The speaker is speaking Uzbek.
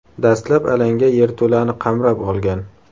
Dastlab alanga yerto‘lani qamrab olgan.